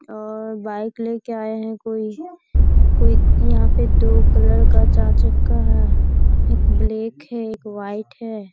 अ bike लेकर आए हैं कोई कोई इहाँ पर दू कलर का चार चक्का है एक ब्लैक है एक वाइट है।